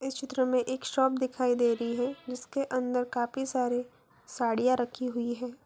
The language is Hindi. इस चित्र मे एक शॉप दिखाई दे रही है जिसके अन्दर काफी सारे साड़ियाँ राखी हुई है।